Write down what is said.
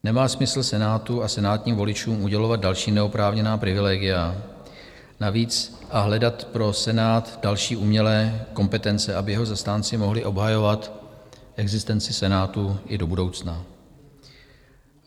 Nemá smysl Senátu a senátním voličům udělovat další neoprávněná privilegia a navíc hledat pro Senát další umělé kompetence, aby jeho zastánci mohli obhajovat existenci Senátu i do budoucna.